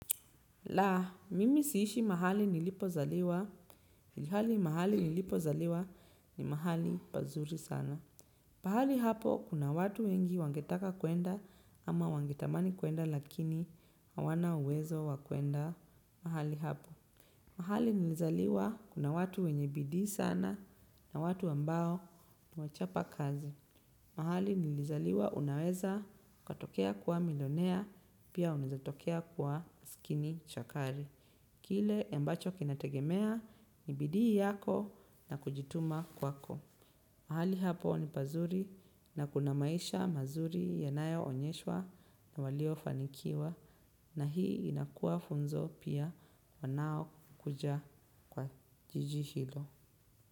La, mimi siishi mahali nilipo zaliwa, ilhali mahali nilipo zaliwa ni mahali pazuri sana. Pahali hapo kuna watu wengi wangetaka kwenda ama wangetamani kwenda lakini hawana uwezo wakwenda mahali hapo. Mahali nilizaliwa kuna watu wenye bidii sana na watu ambao niwachapa kazi. Mahali nilizaliwa unaweza ukatokea kuwa milionea pia unawezatokea kuwa masikini chakari. Kile ambacho kinategemea ni bidii yako na kujituma kwako. Mahali hapo ni pazuri na kuna maisha mazuri yanayo onyeshwa na walio fanikiwa na hii inakua funzo pia wanao kuja kwa jijihilo.